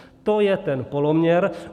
To je ten poloměr.